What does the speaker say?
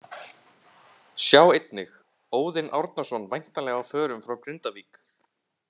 Sjá einnig: Óðinn Árnason væntanlega á förum frá Grindavík